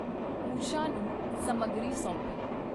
ਉਸ਼ਾ ਨੂੰ ਸਮੱਗਰੀ ਸੌਂਪੀ।